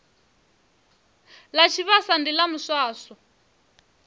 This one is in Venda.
ḽa tshivhasa ndi ḽa miswaswo